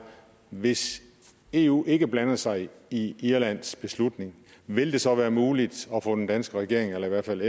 hvis eu ikke blander sig i irlands beslutning vil det så være muligt at få den danske regering eller i hvert fald